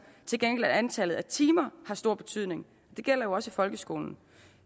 til gengæld at antallet af timer har stor betydning det gælder jo også i folkeskolen